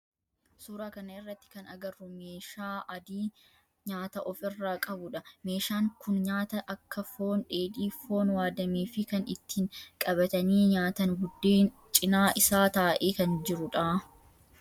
Suuraa kana irratti kan agarru meeshaa adii nyaata of irraa qabudha. Meeshaan kun nyaata akka foon dheedhii, foon waaddamee fi kan ittiin qabatanii nyaatan buddeen cinaa isaa taa'ee kan jirudha